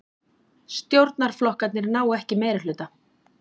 Stjórnarflokkarnir ná ekki meirihluta